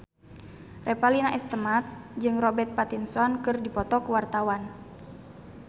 Revalina S. Temat jeung Robert Pattinson keur dipoto ku wartawan